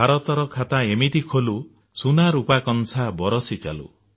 ଭାରତର ଖାତା ଏମିତି ଖୋଲି ସୁନା ରୂପା କଂସା ବରିଷି ଚାଲୁ